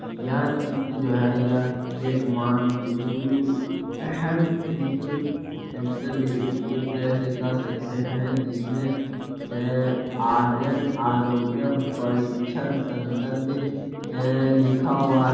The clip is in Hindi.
यह चित्र जो है यह एक मान हेल्थ फिजिकल सेंटर ए एक तरह से कह सकते है जिसमें आर्यन आरोग्य परीक्षण संसद ए लिखा हुआ --